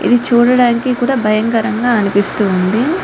ఇద్ది చూడడానికి కూడా బయం కరం గ అనిపిస్తుంది